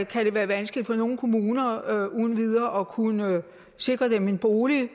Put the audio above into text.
kan det være vanskeligt for nogle kommuner uden videre at kunne sikre dem en bolig